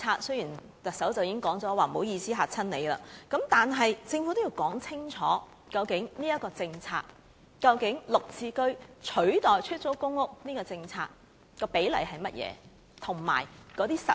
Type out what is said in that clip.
雖然行政長官已表示不好意思，把大家嚇着了，但政府仍要說清楚這一項政策，究竟在"綠置居"取代出租公屋的政策下，比例為何，以及會如何實行？